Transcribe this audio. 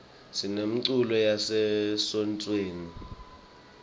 sinemiculo yase sontfweni